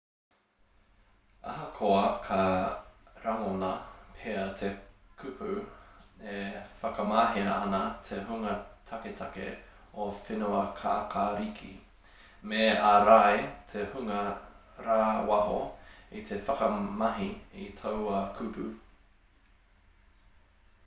ahakoa ka rangona pea te kupu e whakamahia ana e te hunga taketake o whenuakākāriki me ārai te hunga rāwaho i te whakamahi i taua kupu